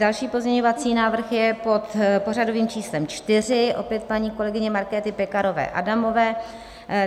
Další pozměňovací návrh je pod pořadovým číslem 4, opět paní kolegyně Markéty Pekarové Adamové.